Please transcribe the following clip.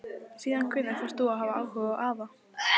Síðan hvenær fórst þú að hafa áhuga á afa?